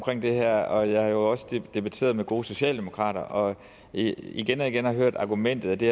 det her og jeg har jo også debatteret med gode socialdemokrater og igen og igen har jeg hørt argumentet at det